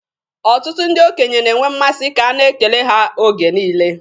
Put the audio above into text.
Ọtụtụ ndị okenye na-enwe mmasị ka a na-ekele ha oge niile.